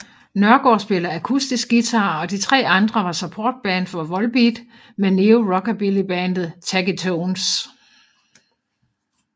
Nørgaard spillede akustisk guitar og de tre andre var supportband for Volbeat med Neo Rockabilly bandet Taggy Tones